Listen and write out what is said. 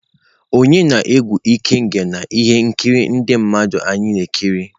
Onye na-egwu ikenga na ihe nkiri ndị mmadụ anyị na-ekiri?.